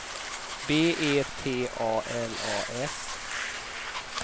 B E T A L A S